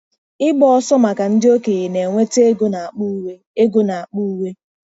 Ịgba ọsọ maka ndị okenye na-enweta ego n'akpa uwe. ego n'akpa uwe.